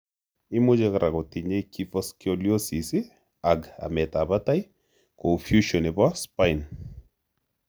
Imuche kora kotinye kyphoscoliosis ag amet ap Patai. Kou fusion nepo spine.